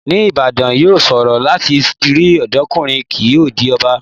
Ní Ìbàdàn, yóò ṣòro láti rí ọ̀dọ́kùnrin kí ó di ọba.